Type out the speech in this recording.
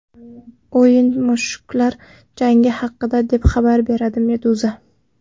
O‘yin mushuklar jangi haqida, deb xabar berdi Meduza.